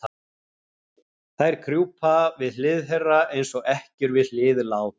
Þær krjúpa við hlið þeirra, eins og ekkjur við hlið lát